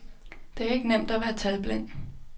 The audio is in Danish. Det er ikke nemt at være talblind.